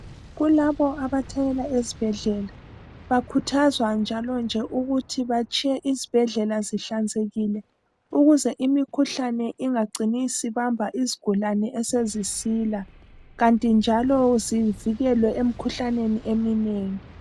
Kulabo abathanyela ezibhedlela , bakhuthazwa njalo nje ukuthi batshiye izibhedlela zihlanzekile ukuze imikhuhlane ingacini isibamba isgulani esezisila kanti njalo zivikelwe emikhuhlaneni eminengi.